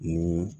Mun